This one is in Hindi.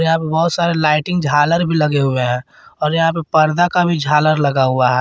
यहां पे बहुत सारे लाइटिंग झालर भी लगे हुए हैं और यहां पे पर्दा का भी झालर लगा हुआ है।